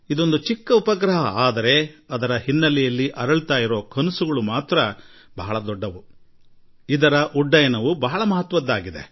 ಈ ಪುಟ್ಟ ಉಪಗ್ರಹದ ಹಿಂದಿರುವ ಕನಸು ಬೃಹತ್ ಮತ್ತು ಅತ್ಯುನ್ನತವಾದ್ದು